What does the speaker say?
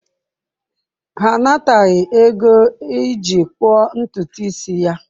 Ha anataghị ego iji gbuo ntutu isi ya.